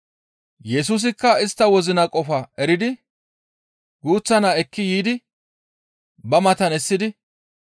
Yesusikka istta wozina qofaa eridi guuththa naa ekki yiidi ba matan essidi,